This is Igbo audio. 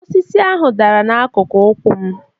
Osisi ahụ dara n'akụkụ ụkwụ m